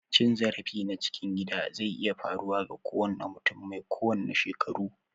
Cin zarafi na cikin gida zai iya faruwa ga kowanne mutum mai kowanne shekaru.